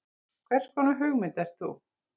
Hverskonar hugmynd ert þú?